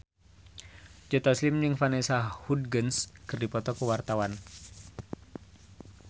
Joe Taslim jeung Vanessa Hudgens keur dipoto ku wartawan